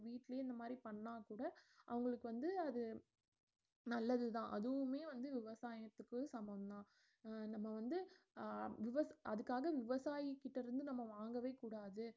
வீட்லயே இந்த மாதிரி பண்ணா கூட அவங்களுக்கு வந்து அது நல்லதுதான் அதுவுமே வந்து விவசாயத்துக்கு சமம்தான் அஹ் நம்ம வந்து அஹ் விவ~ அதுக்காக விவசாயி கிட்ட இருந்து நம்ம வாங்கவே கூடாது